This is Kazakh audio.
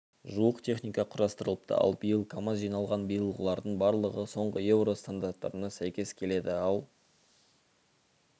жуық техника құрастырылыпты ал биыл камаз жиналған биылғылардың барлығы соңғы еуро стандарттарына сәйкес келеді ал